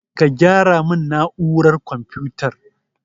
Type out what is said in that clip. Ka gyara min na'urar konfutar